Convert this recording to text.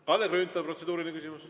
Kalle Grünthal, protseduuriline küsimus.